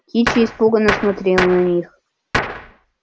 кичи испуганно смотрел на них